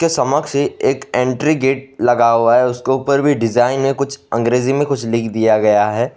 के समक्ष ए एक एंट्री गेट लगा हुआ है उसके ऊपर भी डिजाइन है कुछ अंग्रेजी में कुछ लिख दिया गया है।